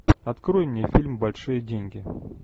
открой мне фильм большие деньги